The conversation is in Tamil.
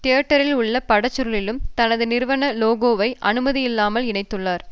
தியேட்டரில் உள்ள படச்சுருளில் தனது நிறுவன லோகோவை அனுமதியில்லாமல் இணைத்துள்ளார்